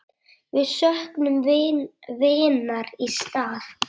Við söknum vinar í stað.